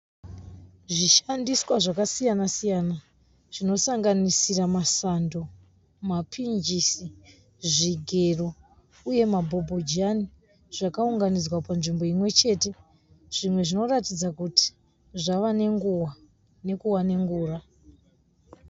Zvishandiswa zvakasiyana siyana zvinosanganisira masando, mapinjisi, zvigero uye mabhobhojani zvakaunganidzwa panzvimbo imwe chete zvimwe zvinoratidza kuti zvave nenguva nekuva nengura.